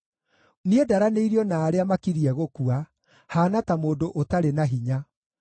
Niĩ ndaranĩirio na arĩa makiriĩ gũkua; haana ta mũndũ ũtarĩ na hinya.